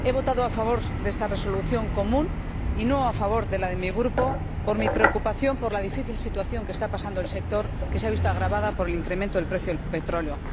He votado a favor de esta propuesta de resolución común, y no me he sumado a mi Grupo, por mi preocupación por la difícil situación que está pasando el sector, que se ha visto agravada por el incremento del precio del petróleo.